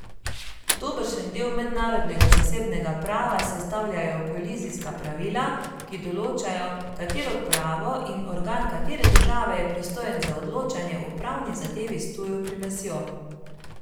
Dobršen del mednarodnega zasebnega prava sestavljajo kolizijska pravila, ki določajo, katero pravo in organ katere države je pristojen za odločanje o pravni zadevi s tujo primesjo.